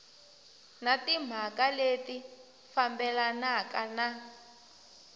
na timhaka leti fambelanaka na